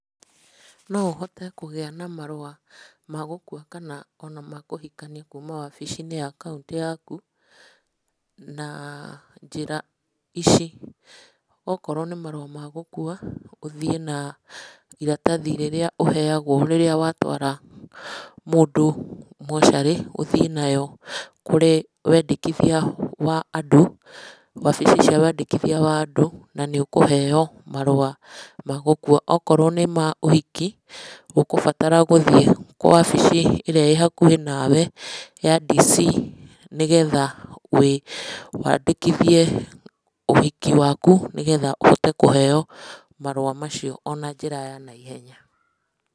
No ũhote kũgĩa na marua ma gũkua kana ona ma kũhikania kuma wabicinĩ ya kauntĩ yaku, na njĩra ici; okorwo nĩ marũa ma gũkua, ũthiĩ na iratathi rĩrĩa ũheagwo rĩrĩa watwara mũndũ mocarĩ ũthiĩ nayo kũrĩ wendekithia wa andũ, wabici ciao na nĩ ũkũheo marua ma gũkua. Okorwo nĩ ũhiki, ũgũbatara gũthiĩ wabici ĩrĩa ĩ hakuhĩ nawe ya dicii nĩgetha wandĩkithie ũhiki waku, nĩgetha ũhote kũheo marũa mau ona njĩra ya na ihenya.